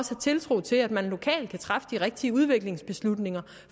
tiltro til at man lokalt kan træffe de rigtige udviklingsbeslutninger